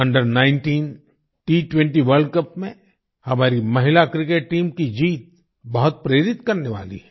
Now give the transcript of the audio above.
Under19 T20 world cup में हमारी महिला क्रिकेट टीम की जीत बहुत प्रेरित करने वाली है